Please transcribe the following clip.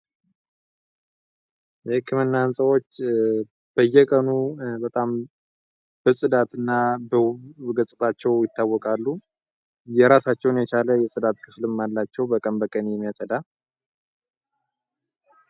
የሕክምና ህንፃዎች በየቀኑ በጣም በጽዳት እና በውብ ገጽታቸው ይታወቃሉ። የራሳቸውን የቻለ የጽዳት ክፍልም አላቸው በቀን የሚያጸዳ።